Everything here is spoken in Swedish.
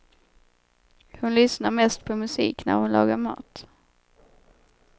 Hon lyssnar mest på musik när hon lagar mat.